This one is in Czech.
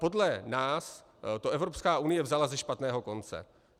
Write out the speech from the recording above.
Podle nás to Evropská unie vzala ze špatného konce.